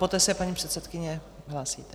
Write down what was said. Poté se paní předsedkyně hlásí.